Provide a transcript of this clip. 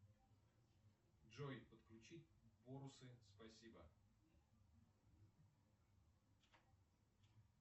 джой подключить бонусы спасибо